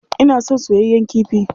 Ina son soyayyen kifi.